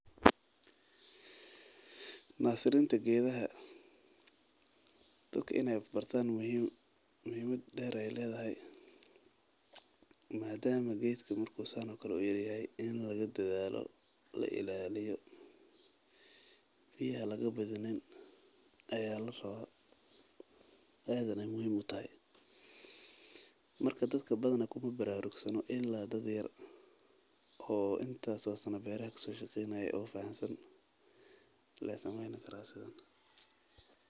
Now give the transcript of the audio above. Nasirinta geedaha dadka inaay bartaan muhimada deer ayeey kedahay geedka markuu yar yahay in lagu dadaalo biya lagu yareeyo la ilaaliyo dad waqti badan beer kasoo shaqeynaye lee sameyni karaa sidan.